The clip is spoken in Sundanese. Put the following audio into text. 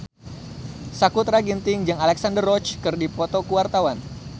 Sakutra Ginting jeung Alexandra Roach keur dipoto ku wartawan